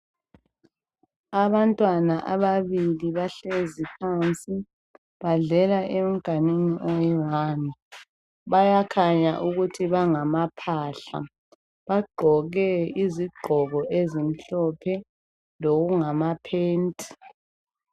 Abantwana ababili bahlezi phansi, badlela emganwini oyi"one".Bayakhanya ukuthi bangamaphahla. Bagqoke izigqoko ezimhlophe lokungama phenti.